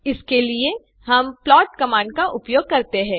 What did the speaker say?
इसके लिए हम प्लॉट कमांड का उपयोग करते हैं